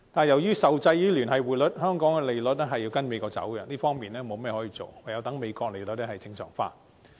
由於受制於聯繫匯率，香港的利率要跟隨美國走向，我們在這方面確實無計可施，唯有等美國利率正常化。